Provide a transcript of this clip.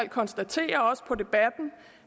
konstatere også på